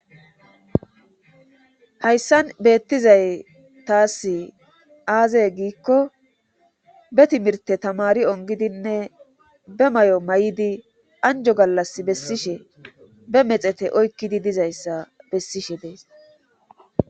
Hayssan beettizay taas aazey giikko be timirte tamari ongidinne be may7o may7idi anjo gallas bessishe be mexete oykkidi dizayssa bessishe dees